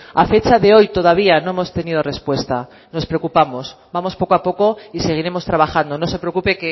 a fecha de hoy todavía no hemos tenido respuesta nos preocupamos vamos poco a poco y seguiremos trabajando no se preocupe